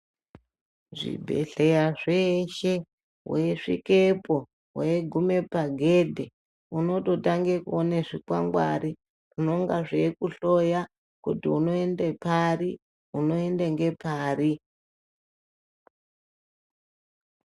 Zvibhedhleya zveshe waisvikepo waigume pagedhe unototange kuona zvikwangwari zvinenge zvaikuhloya kuti unoende ngepari .